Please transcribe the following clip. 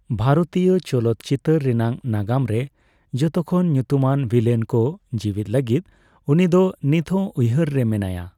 ᱵᱷᱟᱨᱚᱛᱤᱭᱚ ᱪᱚᱞᱚᱛ ᱪᱤᱚᱛᱟᱹᱨ ᱨᱮᱭᱟᱜ ᱱᱟᱜᱟᱢ ᱨᱮ ᱡᱚᱛᱚᱠᱷᱚᱱ ᱧᱩᱛᱩᱢᱟᱱ ᱵᱷᱤᱞᱮᱱ ᱠᱚ ᱡᱤᱣᱤᱫ ᱞᱟᱹᱜᱤᱫ ᱩᱱᱤᱫᱚ ᱱᱤᱛᱦᱚᱸ ᱩᱭᱦᱟᱹᱨ ᱨᱮ ᱢᱮᱱᱟᱭᱟ ᱾